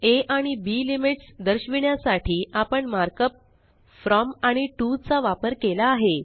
आ आणि B limits दर्शविण्यासाठी आपण मार्कअप फ्रॉम आणि टीओ चा वापर केला आहे